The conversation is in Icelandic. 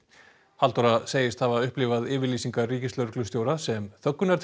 Halldóra segist hafa upplifað yfirlýsingar ríkislögreglustjóra sem